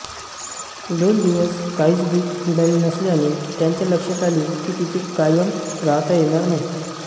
दोन दिवस काहीच भीक मिळाली नसल्याने त्यांच्या लक्षात आले की तिथे कायम राहता येणार नाही